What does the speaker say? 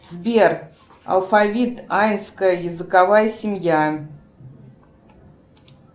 сбер алфавит аинская языковая семья